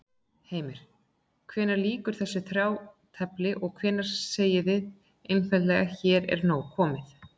Heimir: Hvenær lýkur þessu þrátefli og hvenær segið þið einfaldlega hér er komið nóg?